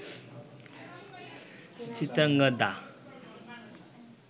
Chitrangada